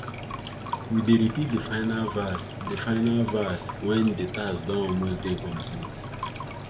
we dey repeat de final verse de final verse wen de task don almost dey complete